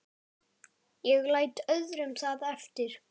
Ég læt öðrum það eftir.